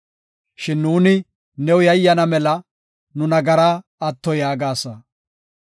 Shin nuuni new yayyana mela, nu nagaraa atto yaagasa.